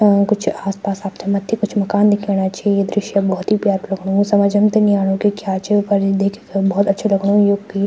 अ कुछ आस पास अपथे मथ्थी कुछ मकान दिख्येणा छि ये दृश्यं भौत ही प्यारु लगणु समझं त नि आणु की क्या च पर देखिक भौत अच्छू लगणू यूकी।